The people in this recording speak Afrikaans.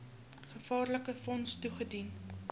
gevaarlike wond toegedien